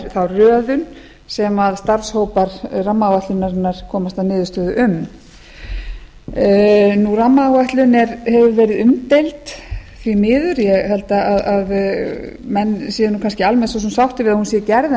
þá röðun sem starfshópar rammaáætlunarinnar komast að niðurstöðu um rammaáætlun hefur verið umdeild því miður ég held að menn séu nú kannski almennt svo sem sáttir við að hún sé gerð en